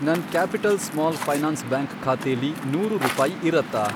ನನ್ Capital Small Finance Bank ಖಾತೆಲಿ ನೂರು ರೂಪಾಯಿ ಇರತ್ತಾ?